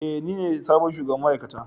Ee, nine sabon shugaban ma'aikata.